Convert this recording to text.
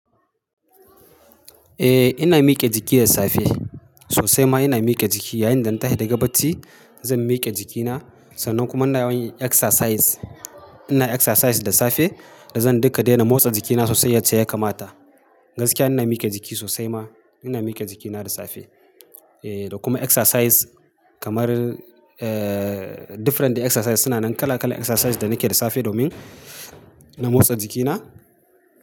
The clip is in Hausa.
Eh ina mike jiki da safe. Sosai ma ina mike jiki. Yayinda na tashi daga bacci zan mike jikina sannan kuma ina yawan yin exercise. Ina exercise da safe da zan duka daina motsa jikina sosai yace ya kamata. Gaskiya ina mike jiki sosai ma. Ina mike jikina da safe. Eh da kuma exercise kamar eee different exercise suna nan kala kala exercise da nake da safe domin na motsa jikina.